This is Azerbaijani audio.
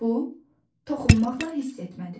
Bu toxunmaqla hiss etmədir.